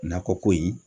Nakɔ ko in